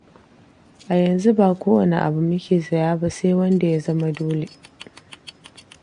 A yanzu ba kowane abu muke saya ba, sai wanda ya zama dole.